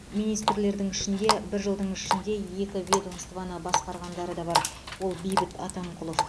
министрлердің ішінде бір жылдың ішінде екі ведомствоны басқарғандары да бар ол бейбіт атамқұлов